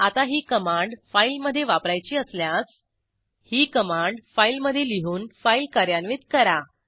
आता ही कमांड फाईलमधे वापरायची असल्यास ही कमांड फाईलमधे लिहून फाईल कार्यान्वित करा